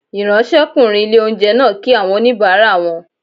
Ìráńṣẹ́kùnrin ilé-oúnjẹ náà kí àwọn oníbàárà wọn